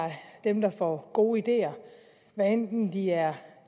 dem der får gode ideer hvad enten de er